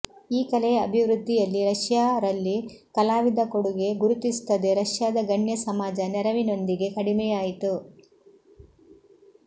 ಈ ಕಲೆಯ ಅಭಿವೃದ್ಧಿಯಲ್ಲಿ ರಶಿಯಾ ರಲ್ಲಿ ಕಲಾವಿದ ಕೊಡುಗೆ ಗುರುತಿಸುತ್ತದೆ ರಷ್ಯಾದ ಗಣ್ಯ ಸಮಾಜ ನೆರವಿನೊಂದಿಗೆ ಕಡಿಮೆಯಾಯಿತು